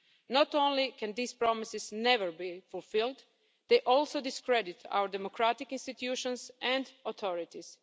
Not only can these promises never be fulfilled, they also discredit our democratic institutions and authorities.